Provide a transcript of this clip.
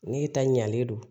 Ne ta ɲalen don